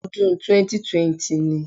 Odún 2020 ni